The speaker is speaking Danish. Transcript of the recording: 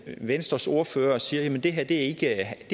venstres ordfører siger at det her ikke er